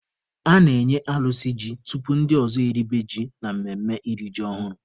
A na-enye alụsị ji tupu ndị ọzọ eribe ji na mmemme iri ji ọhụrụ.